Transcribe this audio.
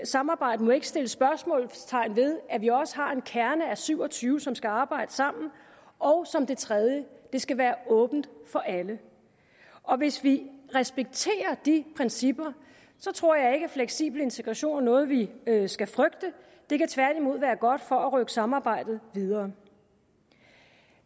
samarbejdet må ikke sætte spørgsmålstegn ved at vi også har en kerne af syv og tyve som skal arbejde sammen og som det tredje at det skal være åbent for alle hvis vi respekterer de principper tror jeg ikke at fleksibel integration er noget vi skal frygte det kan tværtimod være godt for at rykke samarbejdet videre